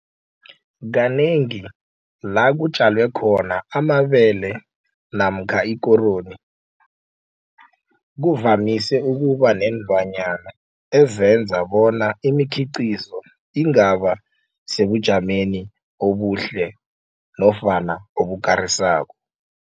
Kanengi la kutjalwe khona amabele namkha ikoroyi kuvamise ukuba neenlwanyana ezenza bona imikhiqizo ingaba sebujameni obuhle nofana obukarisako.